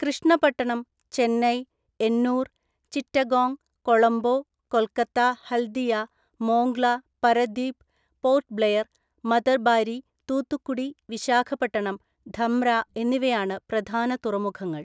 കൃഷ്ണപട്ടണം, ചെന്നൈ, എന്നൂർ, ചിറ്റഗോങ്, കൊളംബോ, കൊൽക്കത്ത ഹൽദിയ, മോംഗ്ല, പരദീപ്, പോർട്ട് ബ്ലെയർ, മതർബാരി, തൂത്തുക്കുടി, വിശാഖപട്ടണം, ധമ്ര എന്നിവയാണ് പ്രധാന തുറമുഖങ്ങൾ.